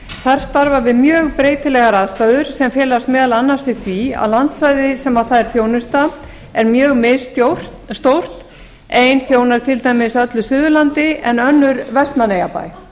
þar starfa við mjög breytilegar aðstæður sem felast meðal annars í því að landsvæði sem fær þjónustu er mjög misstórt ein þjónar til dæmis öllu suðurlandi en önnur vestmannaeyjabæ